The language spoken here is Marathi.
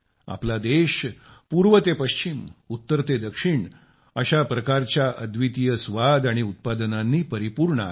आपला देश पूर्व ते पश्चिम उत्तर ते दक्षिण अशा प्रकारच्या अद्वितीय स्वाद आणि उत्पादनांनी परिपूर्ण आहे